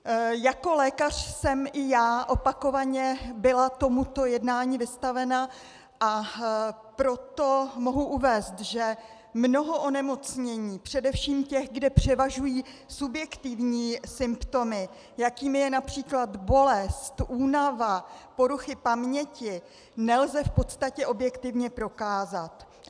Jako lékař jsem i já opakovaně byla tomuto jednání vystavena, a proto mohu uvést, že mnoho onemocnění, především těch, kde převažují subjektivní symptomy, jakým je například bolest, únava, poruchy paměti, nelze v podstatě objektivně prokázat.